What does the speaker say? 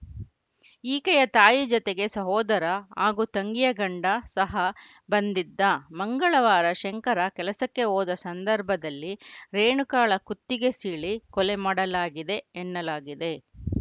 ಈಕೆಯ ತಾಯಿ ಜತೆಗೆ ಸಹೋದರ ಹಾಗೂ ತಂಗಿಯ ಗಂಡ ಸಹ ಬಂದಿದ್ದ ಮಂಗಳವಾರ ಶಂಕರ ಕೆಲಸಕ್ಕೆ ಹೋದ ಸಂದರ್ಭದಲ್ಲಿ ರೇಣುಕಾಳ ಕುತ್ತಿಗೆ ಸೀಳಿ ಕೊಲೆಮಾಡಲಾಗಿದೆ ಎನ್ನಲಾಗಿದೆ